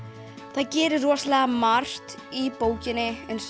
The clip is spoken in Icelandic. það gerist rosalega margt í bókinni eins